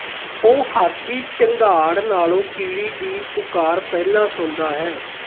ਉਹ ਹਾਥੀ ਚੰਘਾੜ ਨਾਲੋਂ ਕੀੜੀ ਦੀ ਪੁਕਾਰ ਪਹਿਲਾਂ ਸੁਣਦਾ ਹੈ